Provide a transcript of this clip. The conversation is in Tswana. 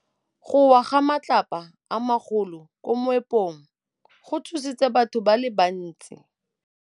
Go wa ga matlapa a magolo ko moepong go tshositse batho ba le bantsi.